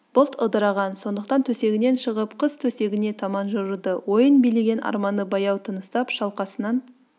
бұлт ыдыраған сондықтан төсегінен шығып қыз төсегіне таман жылжыды ойын билеген арманы баяу тыныстап шалқасынан